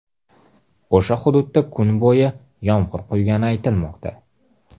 O‘sha hududda kuni bo‘yi yomg‘ir quygani aytilmoqda.